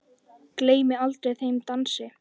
Gleymi aldrei þeim dansi.